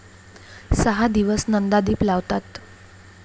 सहा दिवस नंदादीप लावतात.